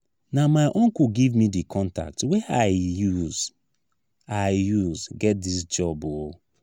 na my uncle give me di contact wey i use i use get dis job o.